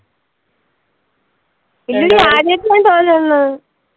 ഇല്ലില്ല അആദ്യത്തെ തോന്നുന്ന്